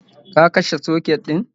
Ka kashe soket din?